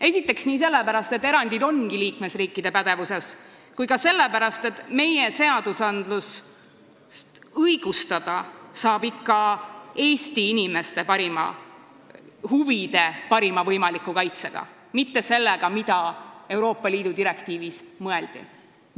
Esiteks sellepärast, et erandid ongi liikmesriikide pädevuses, ja ka sellepärast, et meie seadusandlust saab ikkagi õigustada Eesti inimeste huvide parima võimaliku kaitsega, mitte sellega, mida Euroopa Liidu direktiiviga mõeldakse.